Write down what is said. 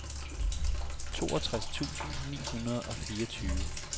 toogtres tusind ni hundrede og fireogtyve